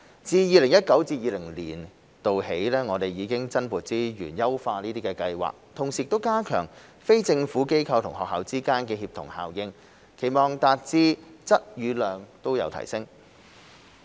自 2019-2020 年度起，我們已增撥資源優化計劃，同時加強非政府機構與學校之間的協同效應，期望達至質與量都有提升。